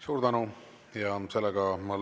Suur tänu!